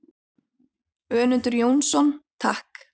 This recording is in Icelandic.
Önundur Jónsson: Takk.